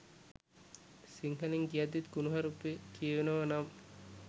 සිංහලෙන් කියද්දිත් කුනුහරුපෙ කියවෙනව නම්